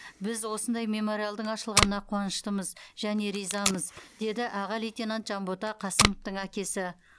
біз осындай мемориалдың ашылғанына қуаныштымыз және ризамыз деді аға лейтенант жанбота қасымовтың әкесі